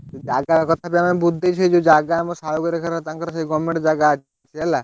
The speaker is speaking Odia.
ଜାଗା କଥା ବି ଆମେ ବୁଝି ଦେଇଛୁ ସେଇ ଜଉ ଜାଗା ଆମ ସାହୁ ଘର ଜାଗା ତାଙ୍କର ସେଇ government ଅଛି। ହେଲା